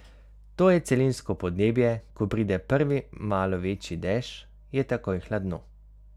To je celinsko podnebje, ko pride prvi malo večji dež, je takoj hladno.